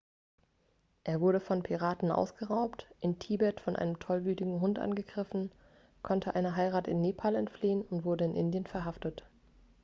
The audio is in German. er wurde von piraten ausgeraubt in tibet von einem tollwütigen hund angegriffen konnte einer heirat in nepal entfliehen und wurde in indien verhaftet